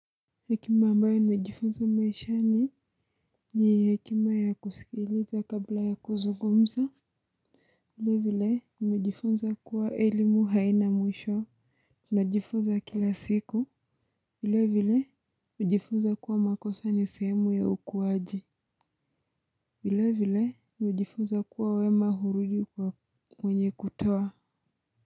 Hekima ambayo nimejifunza maishani ni hekima ya kusikiliza kabla ya kuzungumza vile vile nimejifunza kuwa elimu haina mwisho. Tunajifunza kila siku vile vile nimejifunza kuwa makosa ni sehemu ya ukuwaji vile vile nimejifunza kuwa wema hurudi kwenye kutoa.